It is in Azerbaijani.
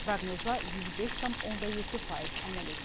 Proqnoza 105,7% əməl edilib.